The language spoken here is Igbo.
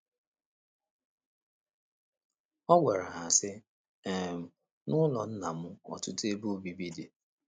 Ọ gwara ha, sị um: “ N’ụlọ Nna m ọtụtụ ebe obibi dị.